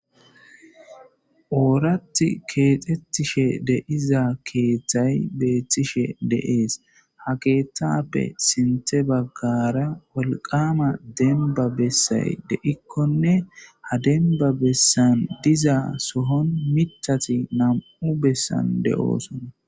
Orathi kexetishe di'iza kethay betishe de'es ha kethape sinte bagara wolqama demba besay de'ikkonne ha demba besan diza sohon mitati nam'u besan de'osona.